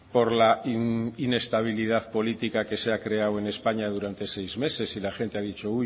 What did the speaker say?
por la inestabilidad política que se ha creado en españa durante seis meses y la gente ha dicho